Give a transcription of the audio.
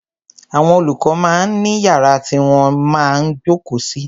Àwọn olùkọ máa ń ní yàrá tí wọ́n máa ń jókòó sí.